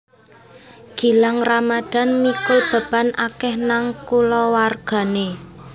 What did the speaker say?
Gilang Ramadhan mikul beban akeh nang kulawargane